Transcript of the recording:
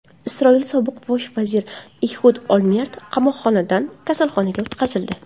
Isroil sobiq bosh vaziri Ehud Olmert qamoqxonadan kasalxonaga o‘tkazildi.